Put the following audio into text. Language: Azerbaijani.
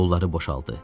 Qolları boşaldı.